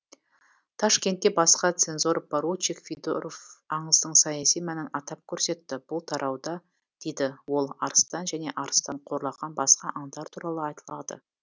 ташкентте басқа цензор поручик федоров аңыздың саяси мәнін атап көрсетті бұл тарауда дейді ол арыстан және арыстан қорлаған басқа аңдар туралы айтылады